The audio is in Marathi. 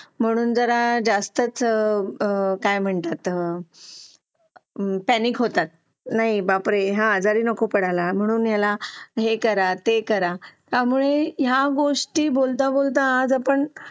लेट होतं सर्दी खोकला हा एक वाढलं आहे. एका मुलाला क्लास पूर्ण क्लास त्याच्यामध्ये वाहून निघत निघत असतो असं म्हणायला हरकत नाही. हो डेंग्यू, मलेरिया यासारखे आजार पण ना म्हणजे लसीकरण आहे. पूर्ण केले तर मला नाही वाटत आहे रोप असू शकतेपुडी लसीकरणाबाबत थोडं पालकांनी लक्ष दिलं पाहिजे की आपला मुलगा या वयात आलेला आहे. आता त्याच्या कोणत्या लसी राहिलेले आहेत का?